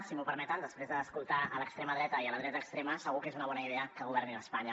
si m’ho permeten després d’escoltar l’extrema dreta i la dreta extrema segur que no és una bona idea que governin a espanya